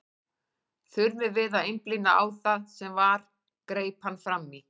Þurfum við að einblína á það sem var, greip hann fram í.